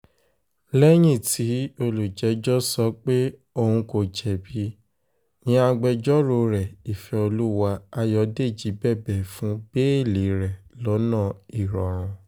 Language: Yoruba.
lẹ́yìn tí olùjẹ́jọ́ sọ pé òun kò jẹ̀bi ni agbẹjọ́rò rẹ̀ ìfẹ́olúwà ayọ̀dèjì bẹ̀bẹ̀ fún bẹ́ẹ́lí rẹ̀ lọ́nà ìrọ̀rùn